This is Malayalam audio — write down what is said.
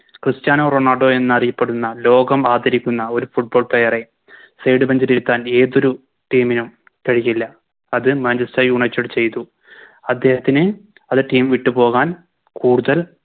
ക്രിസ്റ്റ്യാനോ റൊണാൾഡോ എന്നറിയപ്പെടുന്ന ലോകം ആദരിക്കുന്ന ഒരു Football player എ Side bench ലിരുത്താൻ ഏതൊരു Team നും കഴിയില്ല അത് Manchester united ചെയ്തു അദ്ദേഹത്തിന് അത് Team വിട്ടു പോകാൻ കൂടുതൽ